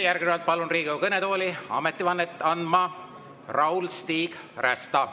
Järgnevalt palun Riigikogu kõnetooli ametivannet andma Raul‑Stig Rästa.